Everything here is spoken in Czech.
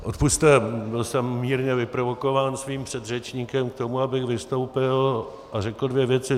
Odpusťte, byl jsem mírně vyprovokován svým předřečníkem k tomu, abych vystoupil a řekl dvě věci.